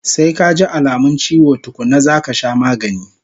Sai kaji alamun chiwo tukkuna zaka sha magani